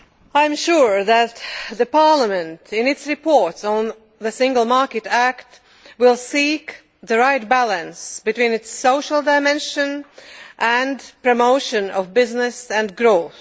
I am sure that Parliament, in its report on the Single Market Act, will seek the right balance between its social dimension and promotion of business and growth.